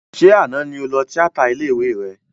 Ṣé àná ni o lọ tíátà ilé ìwé rẹ?